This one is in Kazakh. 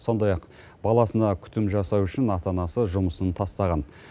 сондай ақ баласына күтім жасау үшін ата анасы жұмысын тастаған